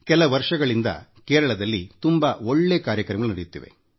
ಕೆಲ ವರ್ಷಗಳಿಂದ ಕೇರಳದಲ್ಲಿ ತುಂಬಾ ಒಳ್ಳೇ ಕಾರ್ಯಕ್ರಮಗಳು ನಡೆಯುತ್ತಿವೆ